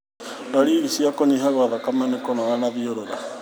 Ndariri cia kũnyiha gwa thakame nĩ kũnoga na thiũrũra